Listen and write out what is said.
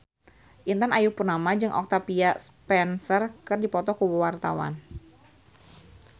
Intan Ayu Purnama jeung Octavia Spencer keur dipoto ku wartawan